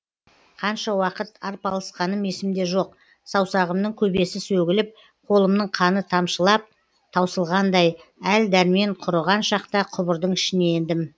қанша уақыт арпалысқаным есімде жоқ саусағымның көбесі сөгіліп қолымның қаны тамшылап таусылғандай әл дәрмен құрыған шақта құбырдың ішіне ендім